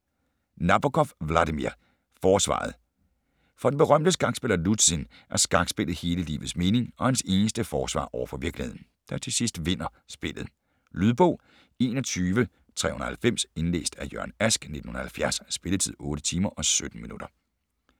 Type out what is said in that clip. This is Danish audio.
Nabokov, Vladimir: Forsvaret For den berømte skakspiller Luzhin er skakspillet hele livets mening og hans eneste forsvar over for virkeligheden, der til sidst vinder spillet. Lydbog 21390 Indlæst af Jørgen Ask, 1970. Spilletid: 8 timer, 17 minutter.